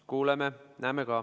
Me kuuleme ja näeme ka.